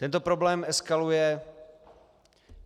Tento problém eskaluje.